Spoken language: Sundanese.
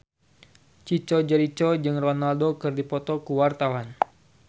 Chico Jericho jeung Ronaldo keur dipoto ku wartawan